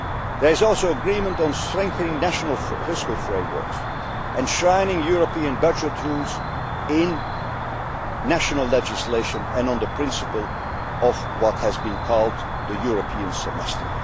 There is also agreement on strengthening national fiscal frameworks, on enshrining European budget rules in national legislation and on the principle of what has been called the European